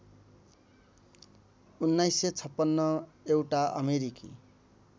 १९५६ एउटा अमेरिकी